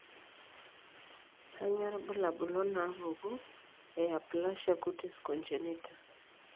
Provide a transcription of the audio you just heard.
Kainyio irbulabul onaapuku eAplasia cutis congenita?